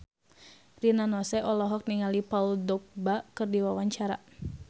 Rina Nose olohok ningali Paul Dogba keur diwawancara